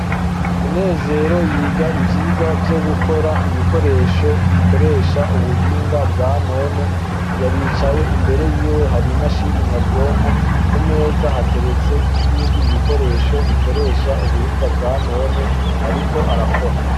Munezero yiga ivyirwa vyogukora ibikoresho bikoresha ubuhinga bwanone aricaye imbere yiwe hari imashini nyabwonko kumeza hateretse nibindi bikoresho bikoresha ubuhinga bwanone ariko arakora